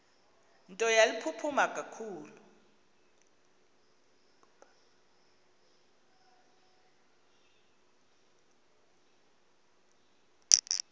nto yaliphupha ngakumbi